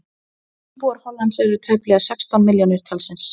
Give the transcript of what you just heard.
íbúar hollands eru tæplega sextán milljónir talsins